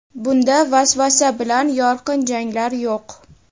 bunda vasvasa bilan yorqin janglar yo‘q.